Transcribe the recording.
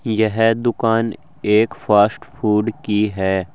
यह दुकान एक फास्ट फूड की है।